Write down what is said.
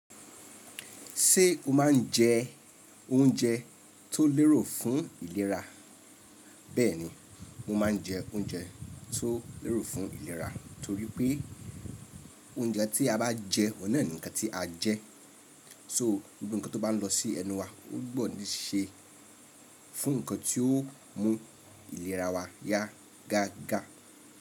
Ṣé o máa ń jẹ oúnjẹ tó lérò fún ìlera? Bẹ́ẹ̀ ni mo máa ń jẹ oúnjẹ tó lérò fún ìlera, torí pé oúnjẹ tí a bá jẹ òun náà ni nǹkan tí a jẹ so gbogbo ǹnkan tó bá ń lọ sí ẹnu wa ó gbọ́ ní ṣe fún ǹnkan tí ó mú ìlera wa yá gágá.